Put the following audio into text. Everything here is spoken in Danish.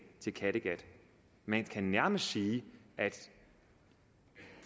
til kattegat man kan nærmest sige at